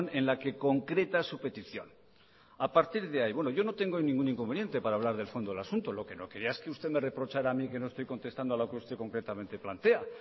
en la que concreta su petición a partir de ahí bueno yo no tengo ningún inconveniente para hablar del fondo del asunto lo que no quería es que usted me reprochara a mí que no estoy contestando a lo que usted concretamente plantea